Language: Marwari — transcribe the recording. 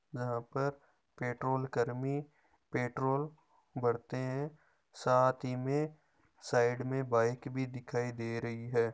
यहाँ पर पेट्रोल कर्मी पेट्रोल भरते है साथ ही में बाइक भी दिखाई दे रही है।